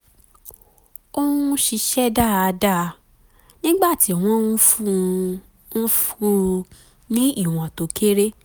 ó um ń ṣiṣẹ́ dáadáa nígbà tí wọ́n ń fún ń fún un ní ìwọ̀n tó kéré